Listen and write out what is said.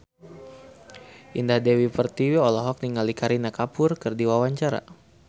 Indah Dewi Pertiwi olohok ningali Kareena Kapoor keur diwawancara